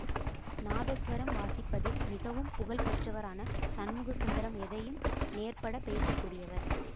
நாதஸ்வரம் வாசிப்பதில் மிகவும் புகழ்பெற்றவரான சண்முக சுந்தரம் எதையும் நேர்பட பேசக்கூடியவர்